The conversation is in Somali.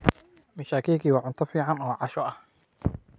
Mishakiki waa cunto fiican oo casho ah.